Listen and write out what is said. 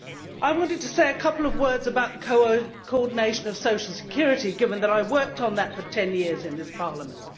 I wanted to say a couple of words about coordination of social security, given that I worked on that for 10 years in this Parliament.